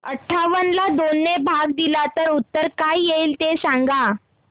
अठावन्न ला दोन ने भाग दिला तर उत्तर काय येईल ते सांगा